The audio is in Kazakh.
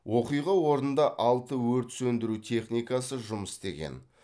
оқиға орнында алты өрт сөндіру техникасы жұмыс істеген